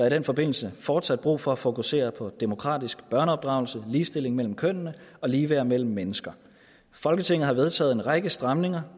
i den forbindelse fortsat brug for at fokusere på demokratisk børneopdragelse ligestilling mellem kønnene og ligeværd mellem mennesker folketinget har vedtaget en række stramninger